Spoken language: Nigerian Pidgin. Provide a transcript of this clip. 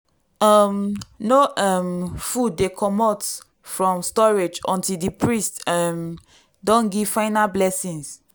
um no um food dey comot from storage until di priest um don give final blessing.